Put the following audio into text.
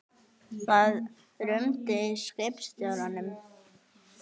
Það rumdi í skipstjóranum.